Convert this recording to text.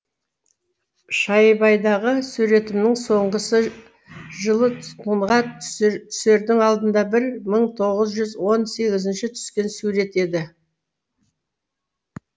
шайбайдағы суретімнің соңғысы жылы тұтқынға түсердің алдында бір мың тоғыз жүз он сегізінші түскен сурет еді